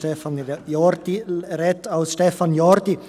Stefan Jordi spricht als Stefan Jordi!